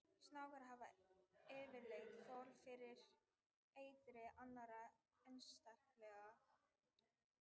Snákar hafa yfirleitt þol fyrir eitri annarra einstaklinga sömu tegundar en ekki eitri annarra tegunda.